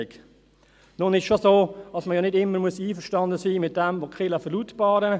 Nun ist es schon so, dass man nicht immer einverstanden sein muss mit dem, was die Kirchen verlautbaren.